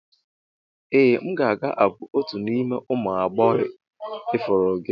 Ee a ga m abụ otu n'ime ụmụ agbọghọ ifuru gị.